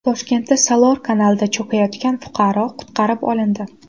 Toshkentda Salor kanalida cho‘kayotgan fuqaro qutqarib olindi.